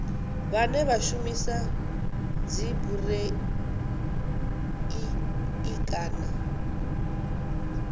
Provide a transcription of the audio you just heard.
vhane vha shumisa dzibureiḽi kana